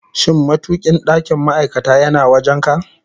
Shin matukin ɗakin ma'aikata yana wajen ka?